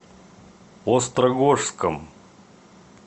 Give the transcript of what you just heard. острогожском